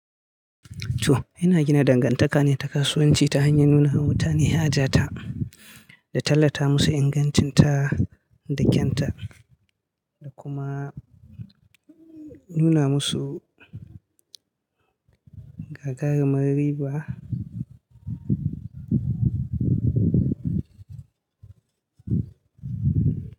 To, ina gina dangantaka ne ta kasuwanci ta hanyar nuna wa mutane haja ta, da tallata musu ingancinta da kyanta, da kuma nuna musu gagarumar riba.